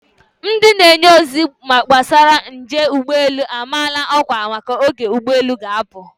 Ndị na-enye ozi gbasara njel ụgbọelu amaala ọkwa maka oge ụgbọelu ga-apụ.